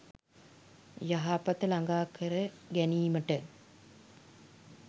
යහපත ළඟා කර ගැනීමට